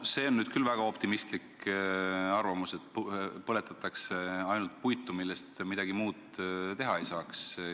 See on küll väga optimistlik arvamus, et põletatakse ainult puitu, millest midagi muud teha ei saaks.